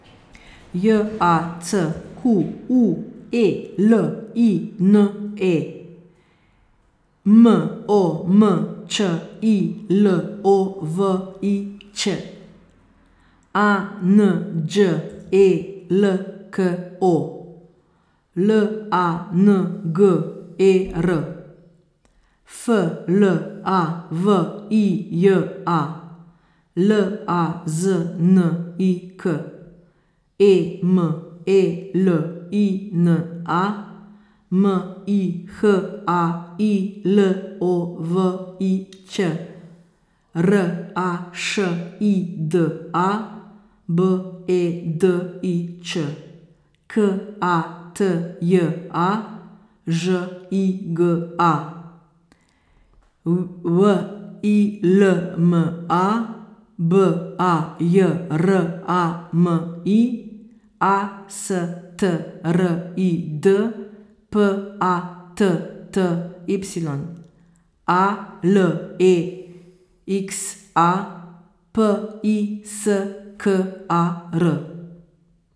J A C Q U E L I N E, M O M Č I L O V I Ć; A N Đ E L K O, L A N G E R; F L A V I J A, L A Z N I K; E M E L I N A, M I H A I L O V I Ć; R A Š I D A, B E D I Č; K A T J A, Ž I G A; W I L M A, B A J R A M I; A S T R I D, P A T T Y; A L E X A, P I S K A R.